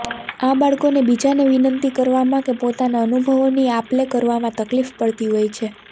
આ બાળકોને બીજાને વિનંતી કરવામાં કે પોતાના અનુભવોની આપ લે કરવામાં તકલીફ પડતી હોય છે